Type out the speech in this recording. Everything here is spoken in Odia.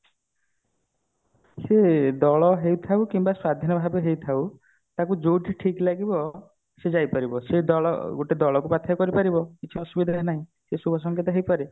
ସେ ଦଳ ହେଇଥାଉ ବା ସ୍ଵାଧୀନ ଭାବେ ହେଇ ଥାଉ ତାକୁ ଯୋଠି ଠିକ ଲାଗିବ ସେ ଯାଇ ପାରିବ ସେ ଦଳ ଗୋଟେ ଦଳ କୁ ବାକ୍ଷ୍ୟା କରିପାରିବ କିଛି ଅସୁବିଧା ନାଇଁ ସେ ଶୁଭ ସଂକେତ ହେଇପାରେ